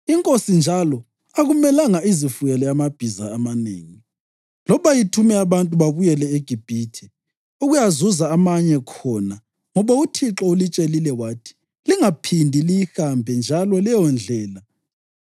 Inkosi njalo akumelanga izifuyele amabhiza amanengi loba ithume abantu babuyele eGibhithe ukuyazuza amanye khona ngoba uThixo ulitshelile wathi, ‘Lingaphindi liyihambe njalo leyondlela.’